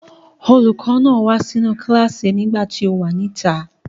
Olùkọ́ náà wá sínú kíláàsì nìgbà tí o wà níta.